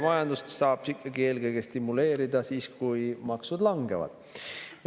Majandust saab ikkagi eelkõige stimuleerida siis, kui maksud langevad.